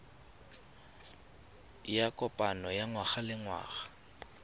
ya kopano ya ngwagalengwaga ya